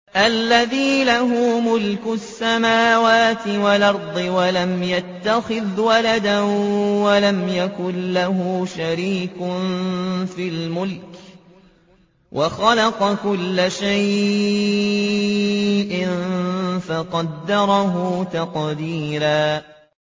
الَّذِي لَهُ مُلْكُ السَّمَاوَاتِ وَالْأَرْضِ وَلَمْ يَتَّخِذْ وَلَدًا وَلَمْ يَكُن لَّهُ شَرِيكٌ فِي الْمُلْكِ وَخَلَقَ كُلَّ شَيْءٍ فَقَدَّرَهُ تَقْدِيرًا